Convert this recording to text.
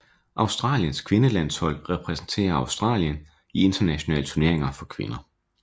Australiens kvindefodboldlandshold repræsenterer Australien i internationale turneringer for kvinder